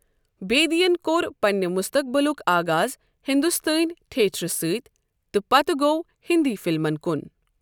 بیدی ین کوٚر پننہِ مُستَقبلُک آغاز ہندوستٲنۍ تھیٹرٕ سۭتۍ تہٕ پتہٕ گوٚو ہندی فلمَن کُن۔